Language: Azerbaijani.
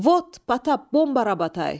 “Vot, Patap, bomba! Rabotay!”